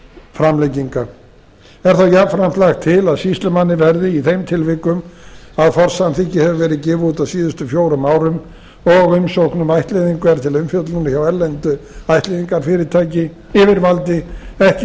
framlenginga er þá jafnframt lagt til að sýslumanni verði í þeim tilvikum að forsamþykki hefur verið gefið út á síðustu fjórum árum og umsókn um ættleiðinga er til umfjöllunar hjá erlendu ættleiðjngarfyrirtæki yfirvaldi ekki